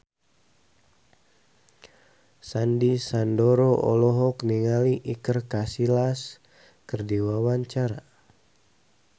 Sandy Sandoro olohok ningali Iker Casillas keur diwawancara